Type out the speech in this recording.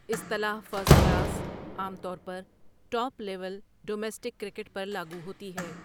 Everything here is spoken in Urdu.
اصطلاح 'فرسٹ کلاس' عام طور پر ٹاپ لیول ڈومیسٹک کرکٹ پر لاگو ہوتی ہے۔